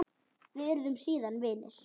Við urðum síðan vinir.